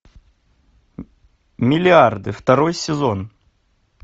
миллиарды второй сезон